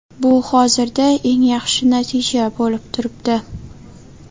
Bu hozirda eng yaxshi natija bo‘lib turibdi.